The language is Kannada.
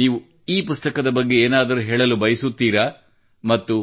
ನೀವು ಈ ಪುಸ್ತಕ ಬಗ್ಗೆ ಏನಾದರೂ ಹೇಳಲು ಬಯಸುತ್ತೀರಾ ಮತ್ತು